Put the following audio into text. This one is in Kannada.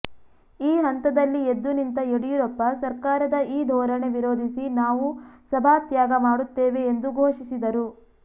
ಈ ಹಂತದಲ್ಲಿ ಎದ್ದುನಿಂತ ಯಡಿಯೂರಪ್ಪ ಸರ್ಕಾರದ ಈ ಧೋರಣೆ ವಿರೋಧಿಸಿ ನಾವು ಸಭಾತ್ಯಾಗ ಮಾಡುತ್ತೇವೆ ಎಂದು ಘೋಷಿಸಿದರು